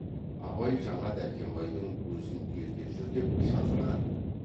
абай жаңа дәркембайдың өзін ере жүр деп шақырған ды